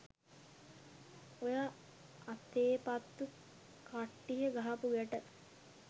ඔය "අතේපත්තු" කට්ටිය ගහපු ගැට